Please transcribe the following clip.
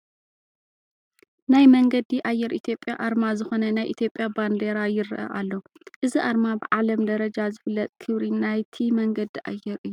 ናይ መንገዲ ኣየር ኢትዮጵያ ኣርማ ዝኾነ ናይ ኢትዮጵያ ባንዲራ ይርኣ ኣሎ፡፡ እዚ ኣርማ ብዓለም ደረጃ ዝፍለጥ ክብሪ ናይቲ መንገዲ ኣየር እዩ፡፡